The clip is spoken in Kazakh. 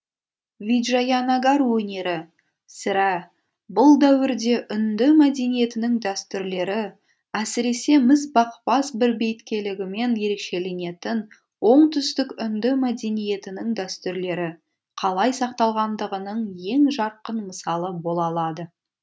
виджаянагар өнері сірә бұл дәуірде үнді мәдениетінің дәстүрлері әсіресе мізбақпас бірбеткейлігімен ерекшеленетін оңтүстік үнді мәдениетінің дәстүрлері қалай сақталғандығының ең жарқын мысалы бола алады